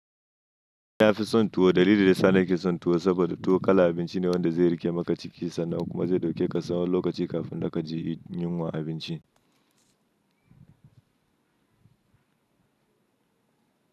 Ni nafi son tuwo. Dalilin da yasani ke son tuwo saboda tuwo kala abinci ne wanda zai riƙe maka ciki sannan kuma zai ɗauke ka tsawan lokaci kafin da ka je yin wani abinci.